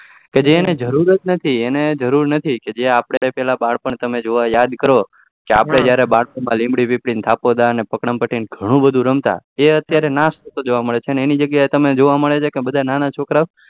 કે જને જરૂર જ નથી એને જરુરુ નથી કે જે આપડે બાર પણ માં તમે યાદ કરોઆપડે જયારે બારપણ માં લીમડી પીપળી ને આખો દિવસ એ ઘણું રમતા એ અતયારે નાસ થતો જોવા મળે છે એની જગ્યાએ તમને જોવા મળે છે બધા નાના છોકરો ઓ